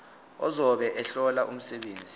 ozobe ehlola umsebenzi